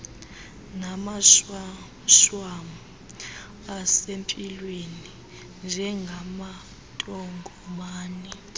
namashwamshwam asempilweni njengamantongomane